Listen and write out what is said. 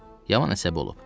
Yaman əsəbi olub.